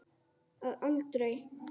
Að aldrei.